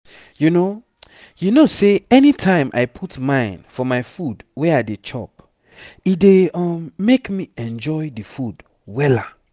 you know you know say anytime i put mine for my food wey i dey chop e dey um make me enjoy the food wella